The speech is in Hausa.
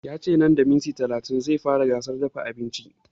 Ya ce nan da minti talatin za a fara gasar dafa abinci